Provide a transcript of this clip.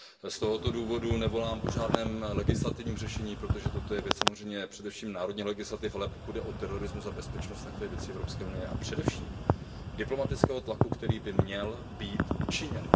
Z tohoto důvodu nevolám po žádném legislativním řešení, protože toto je věc samozřejmě především národních legislativ, ale pokud jde o terorismus a bezpečnost, tak to je věc EU a především diplomatického tlaku, který by měl být učiněn.